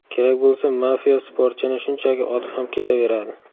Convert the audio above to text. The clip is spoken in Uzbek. Kerak bo‘lsa mafiya sportchini shunchaki otib ham ketaveradi.